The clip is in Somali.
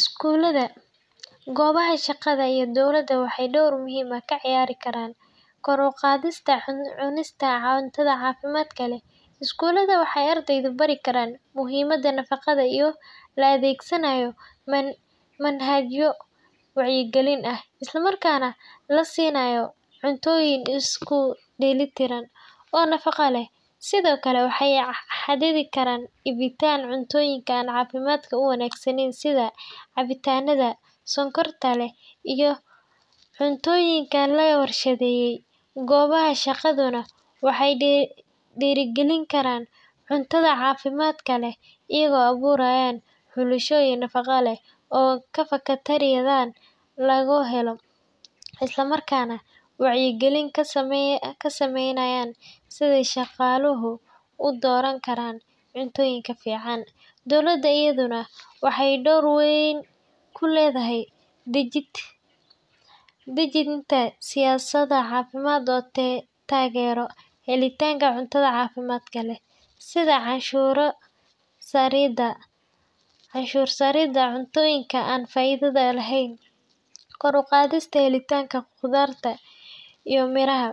Iskuulada goobaha shaqada iyo dowladda waxay dhowr muhiim ah ka ciyaari karaan kor u qaadista cunista cundtada caafimaad kale iskuulada, waxay ardaydu bari karaan muhiimadda nafaqada iyo la adeegsanayo manhajyo wacyigelin ah, islamarkaana la siinayo cuntooyin isku dhelitiran oo nafaqa leh sidoo kale waxay xadidi karaan ibitaal cuntooyinkaan caafimaadka u wanaagsaneyn sida cabitaanada sonkorta leh iyo cuntoyinka cuntooyinka laga warshadeeyay goobaha shaqaduna waxay dhiirigelin karaan cuntada caafimaad kale iyagoo abuurayaan xulasho iyo nafaqo leh oo ka fakatariyadan lagu helo is la marka neh wacyigelin ka sameynayaan sida shaqaaluhu u dooran karaan cuntooyinka fiican dunida iyaduna waxay dhowr weyn ku leedahay dajinta siyaasadda caafimaadka taageero helitaanka cuntada caafimaad kale sida canshuur saridaa cuntooyinka aan faa iido lehen koor uqadista helitanka qodartaa iyo miiraha